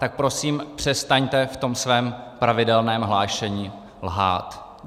Tak prosím přestaňte v tom svém pravidelném hlášení lhát.